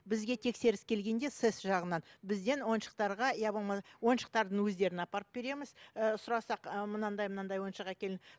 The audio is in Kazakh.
бізге тексеріс келгенде сэс жағынан бізден ойыншықтарға иә болма ойыншықтардың өздерін апарып береміз ііі сұрасақ мынандай мынадай ойыншық әкел